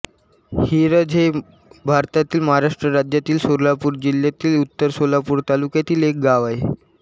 हिरज हे भारतातील महाराष्ट्र राज्यातील सोलापूर जिल्ह्यातील उत्तर सोलापूर तालुक्यातील एक गाव आहे